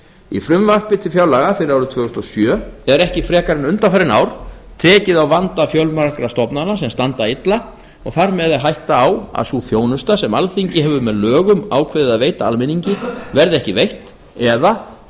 í frumvarpi til fjárlaga fyrir árið tvö þúsund og sjö er ekki frekar en undanfarin ár tekið á vanda fjölmargra stofnana sem standa illa og þar með er hætta á að sú þjónusta sem alþingi hefur með lögum ákveðið að veita almenningi verði ekki veitt eða